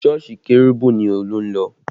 Sọ́ọ̀sì kérúbù ni Olú ń lọ